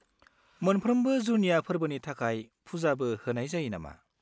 मोनफ्रोमबो जुनिया फोर्बोनि थाखाय फुजाबो होनाय जायो नामा?